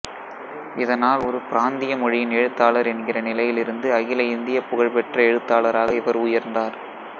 இதனால் ஒரு பிராந்திய மொழியின் எழுத்தாளர் என்கிற நிலையிலிருந்து அகில இந்திய புகழ் பெற்ற எழுத்தாளராக இவர் உயர்ந்தார்